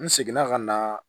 N seginna ka na